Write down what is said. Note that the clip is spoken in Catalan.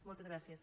moltes gràcies